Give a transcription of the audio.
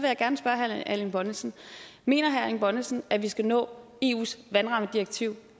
jeg gerne spørge herre erling bonnesen mener herre erling bonnesen at vi skal nå eus vandrammedirektiv